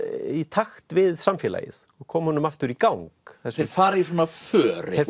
í takt við samfélagið og koma honum aftur í gang þeir fara í svona för